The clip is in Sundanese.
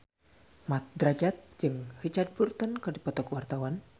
Mat Drajat jeung Richard Burton keur dipoto ku wartawan